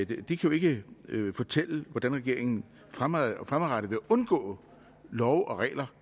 jo ikke fortælle hvordan regeringen fremadrettet skal undgå love og regler